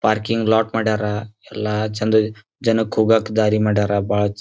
parking lot ಮಾಡ್ಯಾರ ಎಲ್ಲಾ ಚೆಂದ ಜನಕ್ ಹೋಗೋಕ್ ದಾರಿ ಮಾಡ್ಯಾರ ಬಹಳ ಚೆಂ --